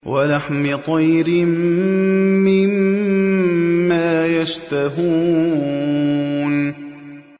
وَلَحْمِ طَيْرٍ مِّمَّا يَشْتَهُونَ